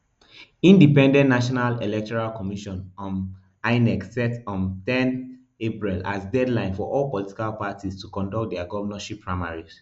independent national electoral commission um inec set um ten april as deadline for all political parties to conduct dia govnorship primaries